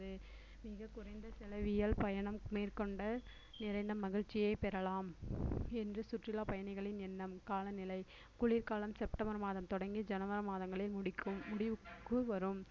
மிகக் குறைந்த செலவில் பயணம் மேற்கொண்ட நிறைந்த மகிழ்ச்சியைப் பெறலாம் என்று சுற்றுலா பயணிகளின் எண்ணம் காலநிலை குளிர்காலம் செப்டம்பர் மாதம் தொடங்கி ஜனவரி மாதங்களில் முடிக்கும் முடிவுக்கு வரும்